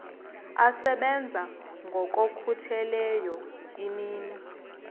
asebenza ngokokhutheleyo imini